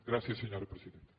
gràcies senyora presidenta